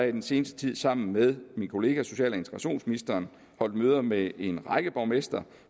i den seneste tid sammen med min kollega social og integrationsministeren holdt møder med en række borgmestre